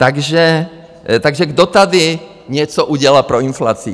Takže kdo tady něco udělal pro inflaci?